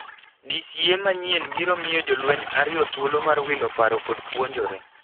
DCA manyien biro mio jolweny ario thuolo mar wilo paro kod puonjore.